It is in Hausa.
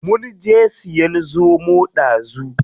Munje siyan zomo ɗazu.